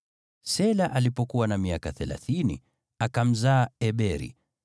Shela alipokuwa na miaka thelathini, akamzaa Eberi.